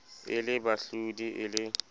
e le bahlodi e le